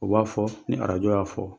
U b'a fɔ ni arajo y'a fɔ